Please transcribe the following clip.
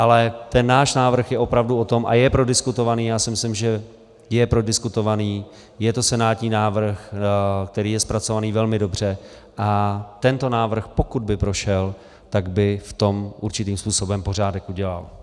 Ale ten náš návrh je opravdu o tom a je prodiskutovaný, já si myslím, že je prodiskutovaný, je to senátní návrh, který je zpracovaný velmi dobře, a tento návrh, pokud by prošel, tak by v tom určitým způsobem pořádek udělal.